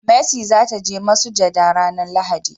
mercy za ta je masujada ranan lahadi